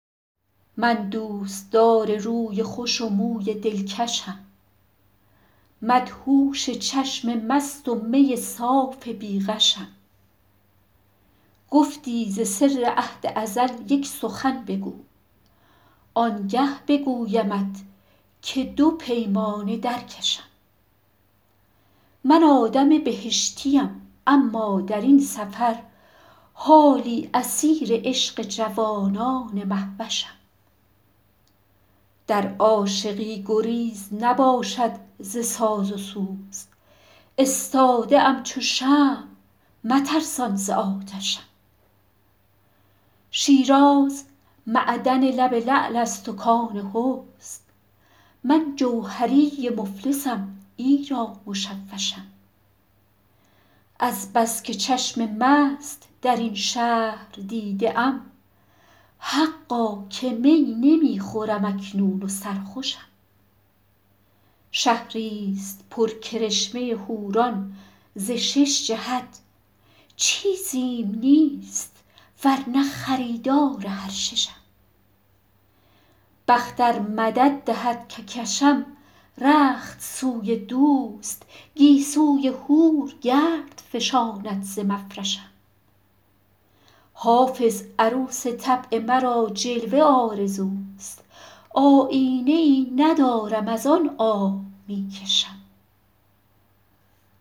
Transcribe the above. من دوستدار روی خوش و موی دلکشم مدهوش چشم مست و می صاف بی غشم گفتی ز سر عهد ازل یک سخن بگو آنگه بگویمت که دو پیمانه در کشم من آدم بهشتیم اما در این سفر حالی اسیر عشق جوانان مهوشم در عاشقی گزیر نباشد ز ساز و سوز استاده ام چو شمع مترسان ز آتشم شیراز معدن لب لعل است و کان حسن من جوهری مفلسم ایرا مشوشم از بس که چشم مست در این شهر دیده ام حقا که می نمی خورم اکنون و سرخوشم شهریست پر کرشمه حوران ز شش جهت چیزیم نیست ور نه خریدار هر ششم بخت ار مدد دهد که کشم رخت سوی دوست گیسوی حور گرد فشاند ز مفرشم حافظ عروس طبع مرا جلوه آرزوست آیینه ای ندارم از آن آه می کشم